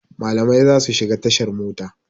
Malamai za su shiga tashar mota.